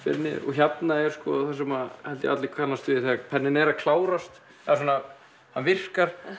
hérna er það sem allir kannast við þegar penninn er að klárast það virkar